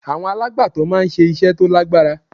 Àwọn alàgbàtó máa ń ṣe iṣẹ́ tó lágbára.